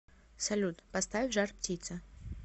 салют поставь жар птица